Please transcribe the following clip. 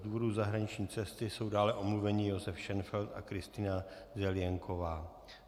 Z důvodu zahraniční cesty jsou dále omluveni Josef Šenfeld a Kristýna Zelienková.